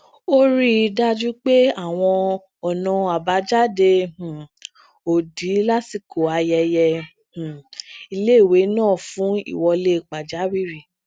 ó rí i dájú pé àwọn ọnà àbájáde um o di lásìkò ayẹyẹ um iléèwé náà fún iwọle pajawiri